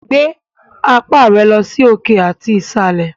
Gbé apá rẹ sí òkè àti ìsàlẹ̀!